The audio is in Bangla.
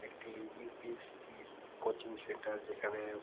একটি ইউপিএসসি -র কোচিং সেন্টার যেখানে--